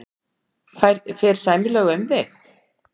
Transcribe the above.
Fer sæmilega um þig?